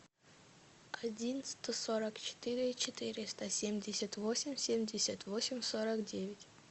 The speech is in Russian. один сто сорок четыре четыреста семьдесят восемь семьдесят восемь сорок девять